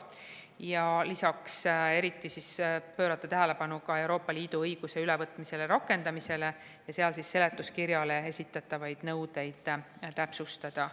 Ja lisaks tahame eriti pöörata tähelepanu Euroopa Liidu õiguse ülevõtmisele ja rakendamisele ja sel juhul seletuskirjale esitatavaid nõudeid täpsustada.